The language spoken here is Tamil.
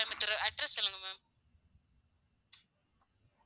கோயமுத்தூர் address சொல்லுங்க ma'am